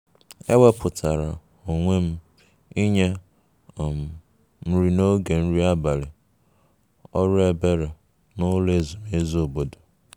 e wepụtara onwe m inye um nri n'oge nri abalị ọrụ ebere n'ụlọ ezumezu obodo